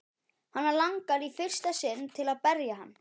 Hana langar í fyrsta sinn til að berja hann.